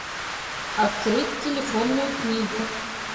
открыть телефонную книгу